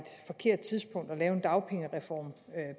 forkert tidspunkt at lave en dagpengereform